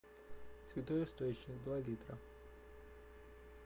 святой источник два литра